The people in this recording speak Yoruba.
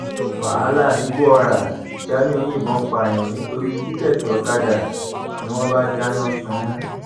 wàhálà nìgbọọra jamiu yìnbọn pààyàn nítorí tíkẹẹtì ọkadà ni wọn bá dáná sun ún